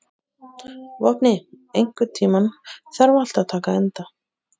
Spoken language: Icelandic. Vopni, einhvern tímann þarf allt að taka enda.